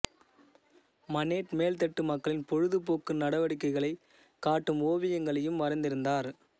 Manet மேல்தட்டு மக்களின் பொழுதுபோக்கு ந்டவடிக்கைகளை காட்டும் ஓவியங்களையும் வரைந்திருந்தார்